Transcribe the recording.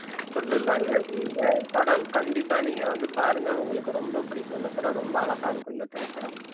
கொடுத்திருப்பாங்க இந்த படம் கண்டிப்பா நீங்க வந்து பாருங்க உங்களுக்கு ரொம்ப பிடிக்கும் இந்த படம் ரொம்ப அழகா இருக்கும் இந்த திரைப்படம்